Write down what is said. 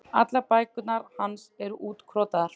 Allar bækurnar hans eru útkrotaðar.